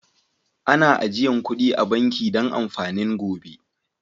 Ana ajian kudi a'banki Dan amfanin gobe.